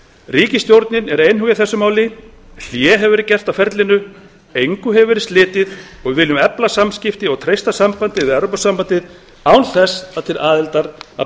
ríkisstjórnin er einhuga í þessu máli hlé hefur verið gert á ferlinu engu hefur verið slitið og við viljum efla samskipti og treysta sambandið við evrópusambandið án þess að til aðildar að